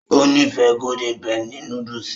Ó nífẹ̀ẹ́ golden penny núdúsì